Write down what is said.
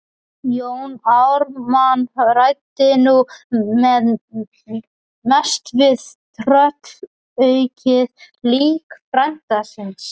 Jón Ármann ræddi nú mest við tröllaukið lík frænda síns.